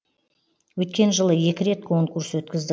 өткен жылы екі рет конкурс өткіздік